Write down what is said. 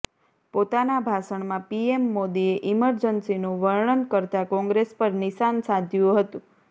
પોતાના ભાષણમાં પીએમ મોદીએ ઇમરજન્સીનું વર્ણન કરતા કોંગ્રેસ પર નિશાન સાધ્યુ હતું